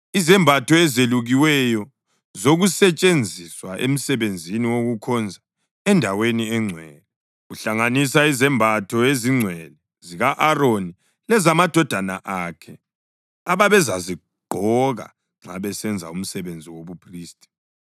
izembatho ezelukiweyo zokusetshenziswa emsebenzini wokukhonza endaweni engcwele, kuhlanganisa izembatho ezingcwele zika-Aroni lezamadodana akhe ababezazigqoka nxa besenza umsebenzi wobuphristi.